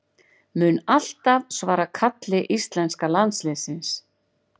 Mun alltaf svara kalli íslenska landsliðsins